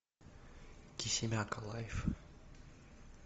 кисимяка лайф